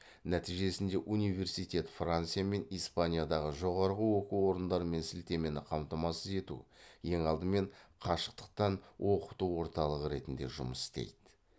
нәтижесінде университет франция мен испаниядағы жоғары оқу орындарымен сілтемені қамтамасыз ету ең алдымен қашықтықтан оқыту орталығы ретінде жұмыс істейді